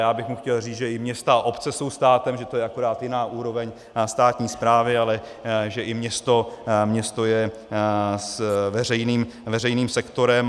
Já bych mu chtěl říct, že i města a obce jsou státem, že to je akorát jiná úroveň státní správy, ale že i město je veřejným sektorem.